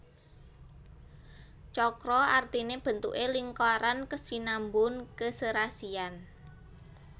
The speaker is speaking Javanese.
Cakra artine bentuke lingkaran kesinambun keserasian